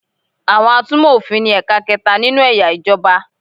Àwọn atúmọ̀ òfin ni ẹ̀ka kẹta nínú eya ìjọba